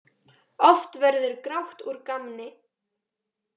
Oft verður grátt úr gamni.